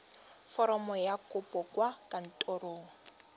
foromo ya kopo kwa kantorong